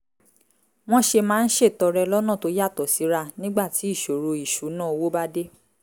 wọ́n ṣe máa ń ṣètọrẹ lọ́nà tó yàtọ̀ síra nígbà tí ìṣòro ìṣúnná owó bá dé